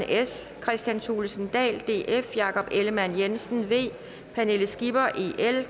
kristian thulesen dahl jakob ellemann jensen pernille skipper